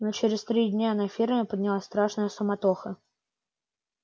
но через три дня на ферме поднялась страшная суматоха